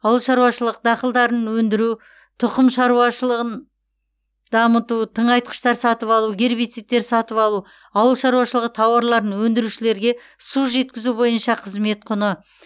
ауыл шаруашылықы дақылдарын өндіру тұқым шаруашылығыны дамыту тыңайтқыштар сатып алу гербицидтер сатып алу ауыл шаруашылығы тауарларын өндірушілерге су жеткізу бойынша қызмет құны